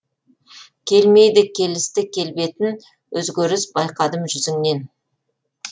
келмейді келісті келбетін өзгеріс байқадым жүзіңнен